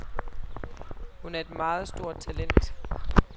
Hun er et meget stort talent.